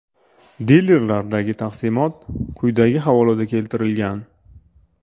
Dilerlardagi taqsimot quyidagi havolada keltirilgan: .